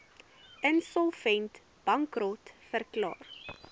insolvent bankrot verklaar